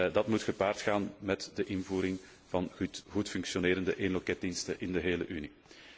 Dat moet gepaard gaan met de invoering van goed functionerende één loketdiensten in de gehele Unie.